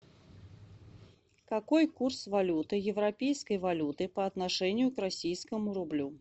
какой курс валюты европейской валюты по отношению к российскому рублю